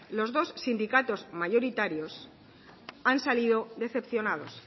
los dos sindicatos mayoritarios han salido decepcionados